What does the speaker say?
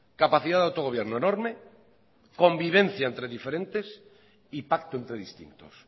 capacidad de autogobierno enorme convivencia entre diferentes y pacto entre distintos